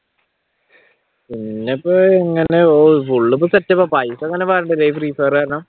പിന്നെ ഇപ്പൊ ഇങ്ങനെ ഓഹ് ഫുൾ ഇപ്പൊ പൈസ അങ്ങനെ വാരലില്ലല്ലേ ഈ free fire കാരണം